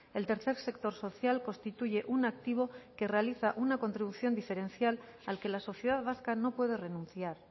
el tercer sector social constituye un activo que realiza una contribución diferencial al que la sociedad vasca no puede renunciar